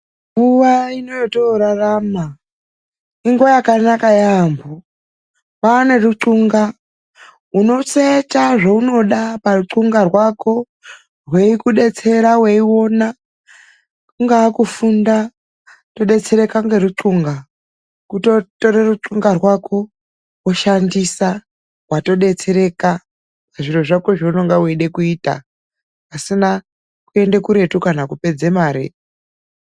Nguva inoyatakurarama inguva yakanaka yambo. Kwane ruthunga rekuti unosecha zvaunenge ukuda paruthunga rwako hweikudetsera. Weiona kungava kufunda wotodetsereka neruthunga. kutotora ruthunga rwako woshandisa watodetsereka zviro zvako zvaunenge uchida kuita pasina kuenda kuretu kana kupedza mare.